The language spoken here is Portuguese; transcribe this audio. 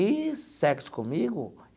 E sexo comigo?